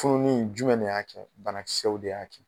Fununi jumɛn de y'a kɛ? Banakisɛw de y'a kɛ.